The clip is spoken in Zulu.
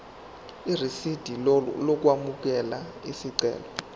irisidi lokwamukela isicelo